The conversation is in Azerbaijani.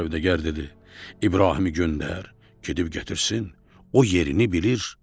Sövdəgar dedi: İbrahimi göndər, gedib gətirsin, o yerini bilir.